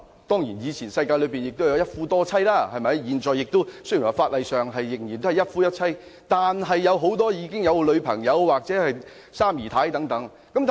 當然，以前的社會有一夫多妻的制度，現行的法例雖然是一夫一妻的制度，但很多人也有女朋友或三姨太等。